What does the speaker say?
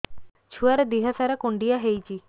ଛୁଆର୍ ଦିହ ସାରା କୁଣ୍ଡିଆ ହେଇଚି